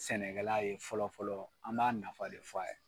Sɛnɛkɛla ye fɔlɔfɔlɔ an b'a nafa de fɔ a ye.